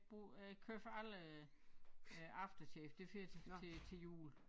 Brug øh køber alle øh aftershave det fører til til jul